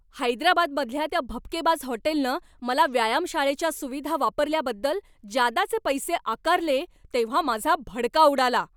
हैदराबादमधल्या त्या भपकेबाज हॉटेलनं मला व्यायामशाळेच्या सुविधा वापरल्याबद्दल जादाचे पैसे आकारले तेव्हा माझा भडका उडाला.